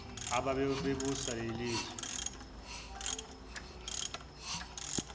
ababe busa lelizwe